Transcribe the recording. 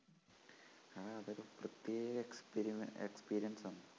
ആ അതൊരു പ്രത്യേക experiexperience ആണ്.